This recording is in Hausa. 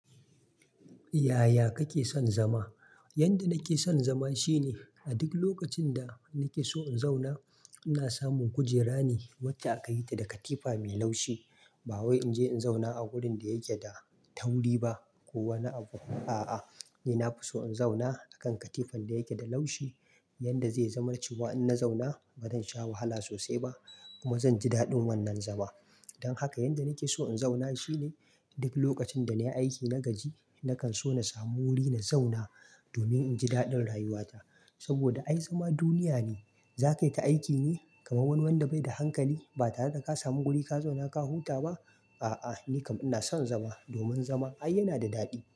Yaya kake son zama? Yanda nake son zama shine a duk lokacin da nake so in zauna ina samun kujera ne wacce aka yi ta da katifa mai laushi. Ba wai in je in zauna a wurin da yake da tauri ba ko wani abu. A'a, ni na fi so in zauna a kan katifan da yake da laushi. Yanda zai zama cewa in na zauna ba zan sha wahala sosai ba kuma zan ji daɗin wannan zama. Don haka yanda nake so in zauna shine duk lokacin da nayi aiki na gaji nakan so na samu wuri na zauna domin in ji daɗin rayuwata. Saboda ai zama duniya ne. Za kaita aiki ne kamar wani wanda bai da hankali ba tare da ka samu guri ka zauna ka huta ba? A'a, ni kam ina son zama domin zama ai yana da daɗi.